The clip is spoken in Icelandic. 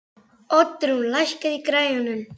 Oddrún, lækkaðu í græjunum.